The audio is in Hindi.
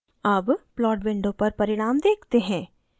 अब plot window पर परिणाम देखते हैं